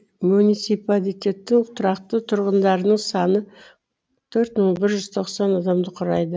муниципалитеттің тұрақты тұрғындарының саны төрт мың бір жүз тоқсан адамды құрайды